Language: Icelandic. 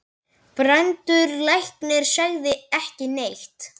Brandur læknir sagði ekki neitt.